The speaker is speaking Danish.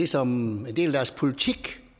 som en del af deres politik